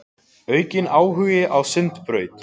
Aukinn áhugi á Sundabraut